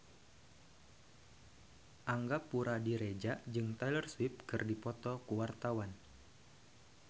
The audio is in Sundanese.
Angga Puradiredja jeung Taylor Swift keur dipoto ku wartawan